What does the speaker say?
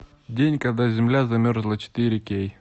день когда земля замерзла четыре кей